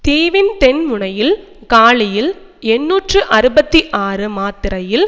தீவின் தென்முனையில் காலியில் எண்ணூற்று அறுபத்தி ஆறு மாத்தறையில்